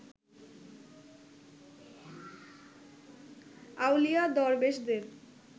আউলিয়া দরবেশদের